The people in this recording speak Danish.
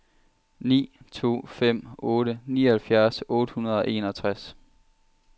ni to fem otte nioghalvfjerds otte hundrede og enogtres